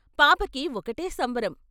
పాపకి ఒకటే సంబరం.